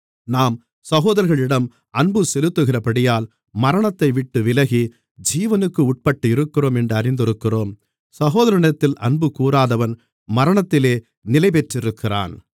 நாம் சகோதரர்களிடம் அன்பு செலுத்துகிறபடியால் மரணத்தைவிட்டு விலகி ஜீவனுக்கு உட்பட்டிருக்கிறோம் என்று அறிந்திருக்கிறோம் சகோதரனிடத்தில் அன்புகூராதவன் மரணத்திலே நிலைபெற்றிருக்கிறான்